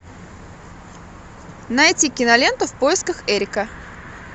найти киноленту в поисках эрика